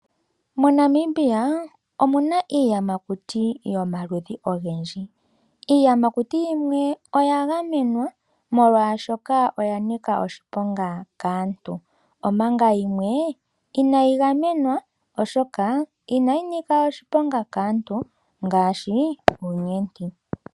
MoNamibia omu na iiyamakuti yomaludhi ogendji. Iiyamakuti yimwe oya gamenwa molwashoka oya nika oshiponga kaantu, omanga yimwe inayi gamenwa, oshoka inayi nika oshiponga kaantu ngaashi uunyenti.